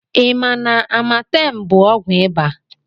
I ma na Amatem bụ ọgwụ iba?